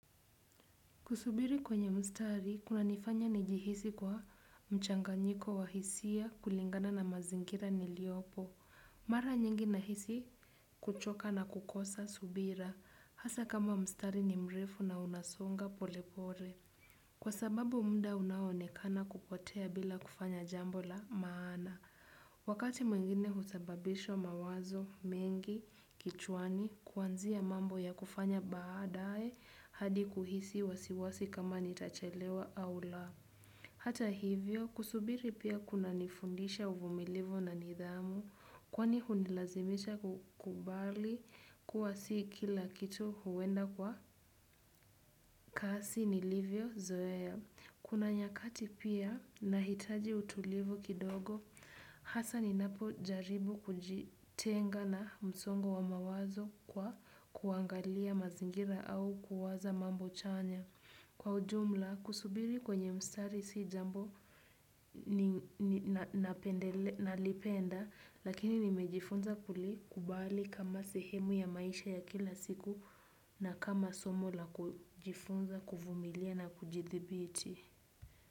Kusubiri kwenye mstari, kunanifanya nijihisi kwa mchanganyiko wa hisia kulingana na mazingira niliyopo. Mara nyingi nahisi kuchoka na kukosa subira. Hasa kama mstari ni mrefu na unasonga polepole. Kwa sababu muda unaoonekana kupotea bila kufanya jambo la maana. Wakati mwingine husababisha mawazo, mengi, kichwani, kuanzia mambo ya kufanya baadae hadi kuhisi wasiwasi kama nitachelewa au la. Hata hivyo, kusubiri pia kunanifundisha uvumilivu na nidhamu kwani hunilazimisha kukubali kuwa si kila kitu huenda kwa kasi nilivyozoea. Kuna nyakati pia nahitaji utulivu kidogo. Hasa ninapo jaribu kujitenga na msongo wa mawazo kwa kuangalia mazingira au kuwaza mambo chanya. Kwa ujumla, kusubiri kwenye mstari si jambo ni nalipenda, lakini nimejifunza kulikubali kama sehemu ya maisha ya kila siku na kama somo la kujifunza kuvumilia na kujidhibiti.